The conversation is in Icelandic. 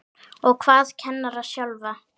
Og hvað kennara sjálfa?